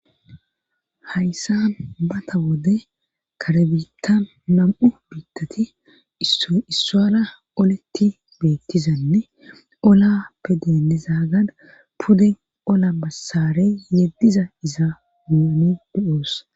Hayssa bata wode karbita nam"u biittati issaara oletti beettizanne ola pe deenezaagana puden ola bassarey yeddiza iza nuni do7oos.